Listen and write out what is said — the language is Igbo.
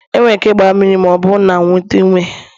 E nwere m ike igba mmiri ma ọ bụrụ na m nweta ume.